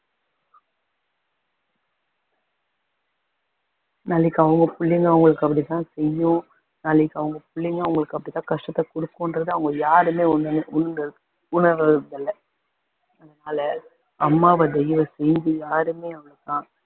நாளைக்கு அவங்க பிள்ளைங்க அவங்களுக்கு அப்படி தான் செய்யும் நாளைக்கு அவங்க பிள்ளைங்க அவங்களுக்கு அப்படி தான் கஷ்டத்தை கொடுக்குன்றதை அவங்க யாருமே உணர்~ உண்ரு~ உணரல்ல அம்மாவ யாருமே அவளை